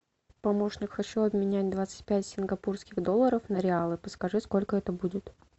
помощник хочу обменять двадцать пять сингапурских долларов на реалы подскажи сколько это будет